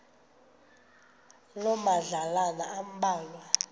loo madlalana ambalwa